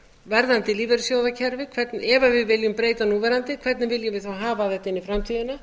verðandi lífeyrissjóðakerfi ef við viljum breyta núverandi hvernig viljum við þá hafa þetta inn í framtíðina